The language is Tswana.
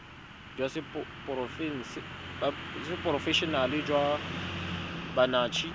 jwa seporofe enale jwa banetshi